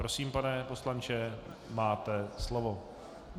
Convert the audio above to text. Prosím, pane poslanče, máte slovo.